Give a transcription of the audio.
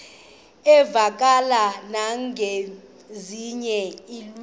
uvakale nangezinye iilwimi